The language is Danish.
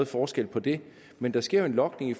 forskel på det men der sker jo en logning